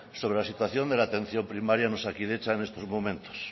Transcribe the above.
sobre la situación de la atención primaria en osakidetza en estos momentos